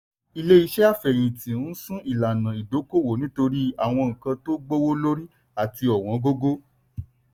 ilé-iṣẹ́ àfẹ̀yìntì n sún ìlànà ìdókòwò nítorí àwọn nnkan tó gbówó lórí àti ọ̀wọ́ngógó.